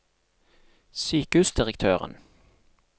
sykehusdirektøren